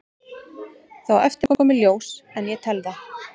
Það á eftir að koma í ljós en ég tel það.